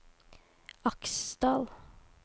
Aksdal